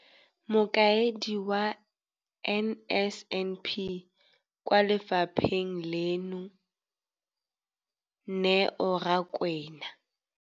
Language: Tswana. Mokaedi wa NSNP kwa lefapheng leno, Neo Rakwena,